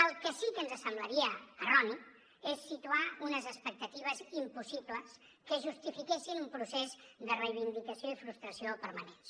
el que sí que ens semblaria erroni és situar unes expectatives impossibles que justifiquessin un procés de reivindicació i frustració permanents